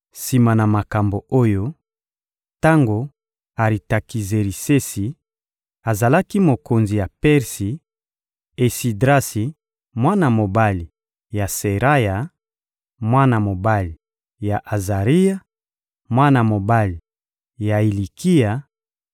Sima na makambo oyo, tango Aritakizerisesi azalaki mokonzi ya Persi, Esidrasi, mwana mobali ya Seraya, mwana mobali ya Azaria, mwana mobali ya Ilikia,